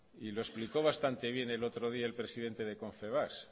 y lo explicó bastante bien el otro día el presidente de confebask